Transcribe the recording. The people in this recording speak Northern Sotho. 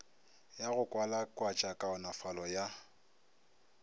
ya go kwalakwatša kaonafalo ya